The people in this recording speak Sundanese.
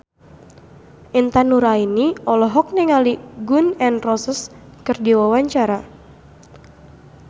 Intan Nuraini olohok ningali Gun N Roses keur diwawancara